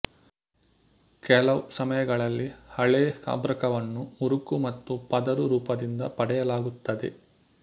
ಕೆಲವು ಸಮಯಗಳಲ್ಲಿ ಹಾಳೆ ಅಭ್ರಕವನ್ನು ಮುರುಕು ಮತ್ತು ಪದರು ರೂಪದಿಂದ ಪಡೆಯಲಾಗುತ್ತದೆ